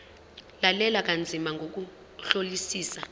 lalela kanzima ngokuhlolisisa